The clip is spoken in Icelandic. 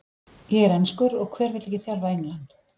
Ég er enskur og hver vill ekki þjálfa England?